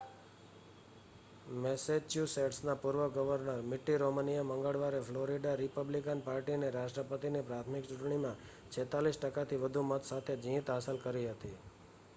મેસેચ્યુસેટ્સના પૂર્વ governor Mitt રોમનીએ મંગળવારે ફ્લોરિડા રિપબ્લિકન પાર્ટીની રાષ્ટ્રપતિની પ્રાથમિક ચૂંટણીમાં 46 ટકાથી વધુ મત સાથે જીત હાંસલ કરી હતી